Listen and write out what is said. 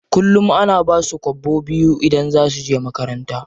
Kullum ana basu kwabo biyu idan za suje makaranta.